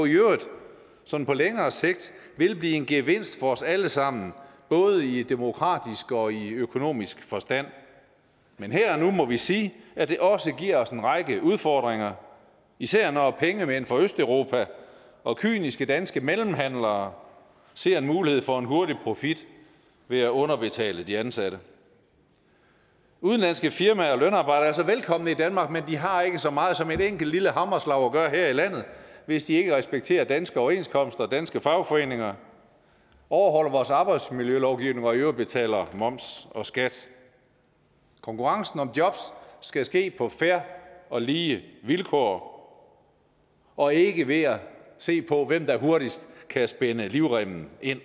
sådan på længere sigt vil blive en gevinst for os alle sammen både i demokratisk og i økonomisk forstand men her og nu må vi sige at det også giver os en række udfordringer især når pengemænd fra østeuropa og kyniske danske mellemhandlere ser en mulighed for en hurtig profit ved at underbetale de ansatte udenlandske firmaer og lønarbejdere er så velkomne i danmark men de har ikke så meget som et enkelt lille hammerslag at gøre i her i landet hvis de ikke respekterer danske overenskomster og danske fagforeninger overholder vores arbejdsmiljølovgivning og i øvrigt betaler moms og skat konkurrencen om jobs skal ske på fair og lige vilkår og ikke ved at se på hvem der hurtigst kan spænde livremmen ind